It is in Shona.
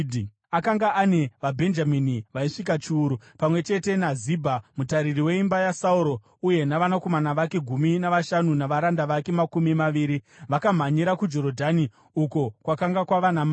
Akanga ane vaBhenjamini vaisvika chiuru, pamwe chete naZibha, mutariri weimba yaSauro, uye navanakomana vake gumi navashanu navaranda vake makumi maviri. Vakamhanyira kuJorodhani uko kwakanga kwava namambo.